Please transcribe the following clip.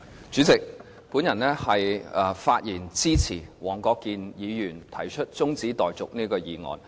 主席，我發言支持黃國健議員提出這項中止待續議案。